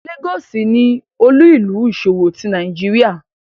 Lagos ni olu-ilu iṣowo ti Nigeria